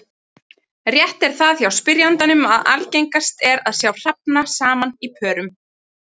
Rétt er það hjá spyrjandanum að algengast er að sjá hrafna saman í pörum.